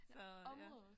Så ja